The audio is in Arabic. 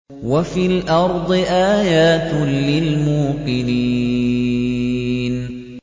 وَفِي الْأَرْضِ آيَاتٌ لِّلْمُوقِنِينَ